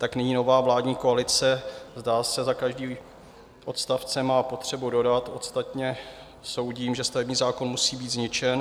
Tak nyní nová vládní koalice, zdá se, za každým odstavcem má potřebu dodat: Ostatně soudím, že stavební zákon musí být zničen.